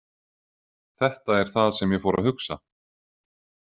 Þetta er það sem ég fór að hugsa.